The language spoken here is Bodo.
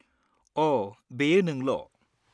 अ' बेयो नोंल'।